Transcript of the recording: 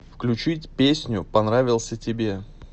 включить песню понравился тебе